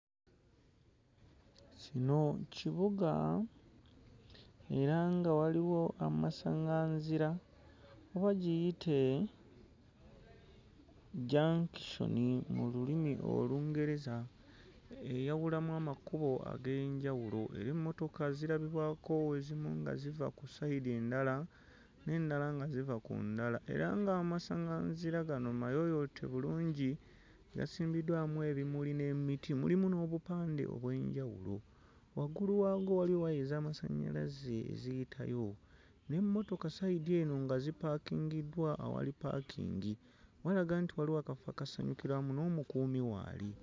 Kino kibuga era nga waliwo amasaŋŋanzira oba giyite junction mu lulimi Olungereza eyawulamu amakubo ag'enjawulo era emmotoka zirabibwako ezimu nga ziva ku sayidi endala n'endala nga ziva ku ndala era ng'amasaŋŋanzira gano mayooyoote bulungi gasimbiddwamu ebimuli n'emiti, mulimu n'obupande obw'enjawulo. Waggulu waago waliwo waya ez'amasannyalaze eziyitayo n'emmotoka sayidi eno nga zipaakingiddwa awali ppaakingi, walaga nti waliwo akafo akasanyukirwamu n'omukuumi waali.